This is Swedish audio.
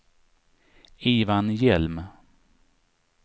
Ivan Hjelm